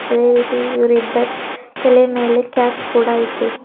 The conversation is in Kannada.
ಅದೇ ರೀತಿ ಇವರಿಬ್ಬರ್ ತಲೆ ಮೇಲೆ ಕ್ಯಾಪ್ ಕೂಡ ಇದೆ.